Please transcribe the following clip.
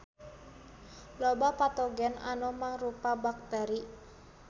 Loba patogen anu mangrupa bakteri.